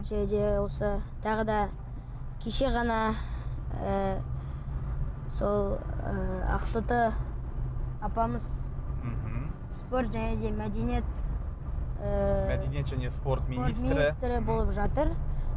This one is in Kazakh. және де осы тағы да кеше ғана ы сол ы ақтоты апамыз мхм спорт және де мәдениет ы мәдениет және спорт министрі болып жатыр